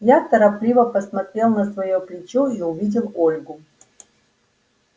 я торопливо посмотрел на своё плечо и увидел ольгу